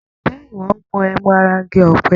Ǹjẹ́ ìwọ ń mu ẹmu ará igi ọ̀pẹ?